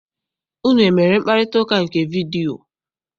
Unu emere mkparịtaụka nke vidiyio?